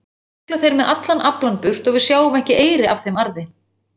Síðan sigla þeir með allan aflann burt og við sjáum ekki eyri af þeim arði.